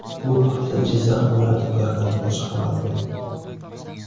Bu haqda Jizzax viloyati prokuraturasi xabar berdi .